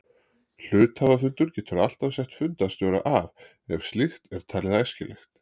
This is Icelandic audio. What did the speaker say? Hluthafafundur getur alltaf sett fundarstjóra af ef slíkt er talið æskilegt.